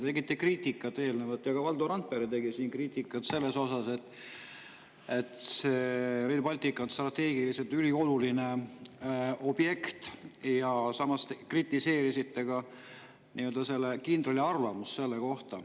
Te tegite kriitikat eelnevalt ja ka Valdo Randpere tegi kriitikat, et Rail Baltic on strateegiliselt ülioluline objekt, samas kritiseerisite selle kindrali arvamust selle kohta.